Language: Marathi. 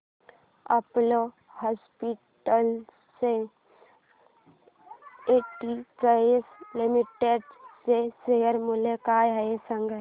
अपोलो हॉस्पिटल्स एंटरप्राइस लिमिटेड चे शेअर मूल्य काय आहे सांगा